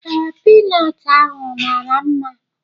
Ee, Pinọt ahụ mara mma